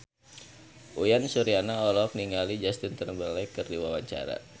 Uyan Suryana olohok ningali Justin Timberlake keur diwawancara